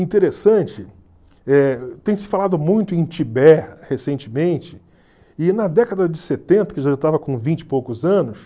Interessante, eh tem se falado muito em Tibete recentemente, e na década de setenta, que eu já estava com vinte e poucos anos,